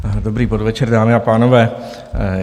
Dobrý podvečer, dámy a pánové.